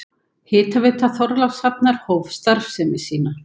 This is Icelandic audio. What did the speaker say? Hitaveita Þorlákshafnar hóf starfsemi sína.